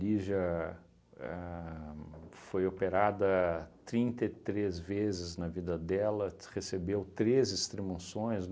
Lígia ahn foi operada trinta e três vezes na vida dela, recebeu três extrema-unções.